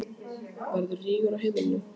Verður rígur á heimilinu?